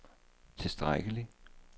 tilstrækkelig